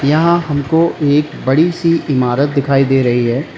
यहां हमको एक बड़ी सी इमारत दिखाई दे रही है।